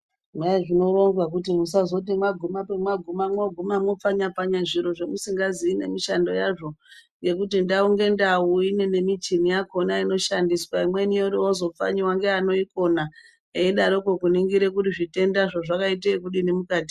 Eya zvinoronzwa kuti musazoti mwaguma pemwaguma mwo guma mwopfanya pfanya zviro zvamusingazivi nemishando yazvo, ngekuti ndau ngendau ine nemichini yakona inoshandiswa imweni yorozopfanyiwa ngevanoikona eidaroko kuningira kuti zvitendazvo zvakaita ekudini mukati.